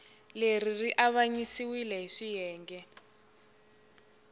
leri ri avanyisiwile hi swiyenge